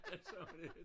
Sagde hun det